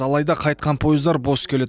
алайда қайтқан пойыздар бос келеді